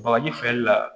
Bagaji feereli la